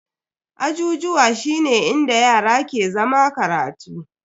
Ajijuwa shine inda yara ke zama karatu.